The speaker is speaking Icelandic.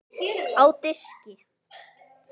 Á diski.